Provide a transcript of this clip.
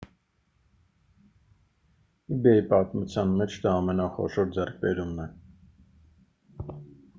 իբեյի պատմության մեջ դա ամենախոշոր ձեռքբերումն է